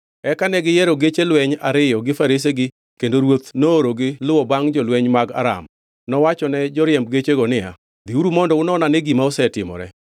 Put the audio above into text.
Eka ne giyiero geche lweny ariyo gi faresegi kendo ruoth noorogi luwo bangʼ jolweny mag Aram. Nowachone joriemb gechego niya, “Dhiuru mondo unon-ane gima osetimore.”